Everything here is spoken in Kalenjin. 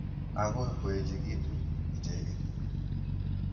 Akoi koechekitu icheket.